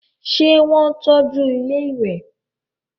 ṣé wọ́n tọ́ju ilẹ́ ìwẹ̀?